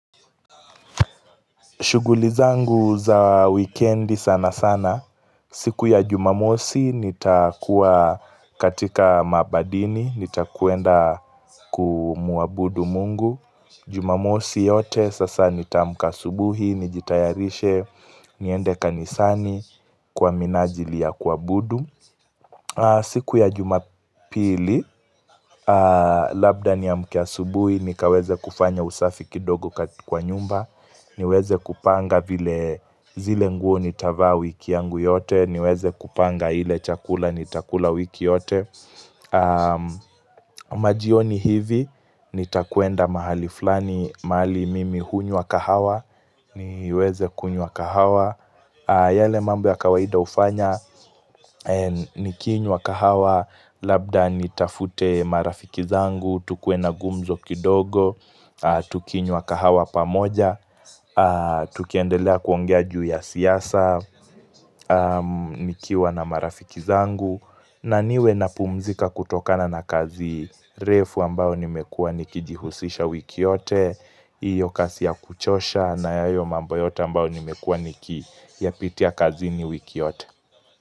Shugli zangu za wikendi sana sana. Siku ya jumamosi nitakuwa katika mabadini nitakwenda kumuabudu mungu. Jumamosi yote sasa nitaamka asubuhi, nijitayarishe, niende kanisani kwa minajili ya kuabudu. Siku ya jumapili Labda niamke asubuhi nikaweze kufanya usafi kidogo kwa nyumba niweze kupanga vile zile nguo nitavaa wiki yangu yote niweze kupanga ile chakula nitakula wiki yote Majioni hivi Nitakwenda mahali fulani mahali mimi hunywa kahawa niweze kunywa kahawa yale mambo ya kawaida hufanya Nikinywa kahawa Labda nitafute marafiki zangu, tukue na gumzo kidogo, tukinywa kahawa pamoja, tukiendelea kuongea juu ya siasa, nikiwa na marafiki zangu na niwe napumzika kutokana na kazi refu ambayo nimekuwa nikijihusisha wiki yote, hiyo kazi ya kuchosha na hayo mambo yote ambao nimekua nikiyapitia kazini wiki yote.